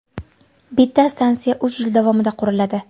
Bitta stansiya uch yil davomida quriladi.